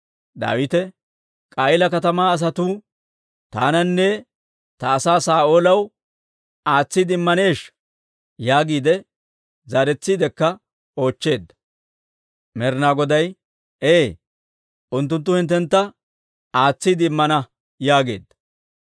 Daawite, «K'a'iila katamaa asatuu taananne ta asaa Saa'oolaw aatsiide immaneeshsha?» yaagiide zaaretsiidekka oochcheedda. Med'inaa Goday, «Ee; unttunttu hinttentta aatsiide immana» yaageedda.